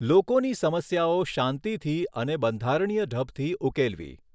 લોકોની સમસ્યાઓ શાંતિથી અને બંધારણીય ઢબથી ઉકેલવી.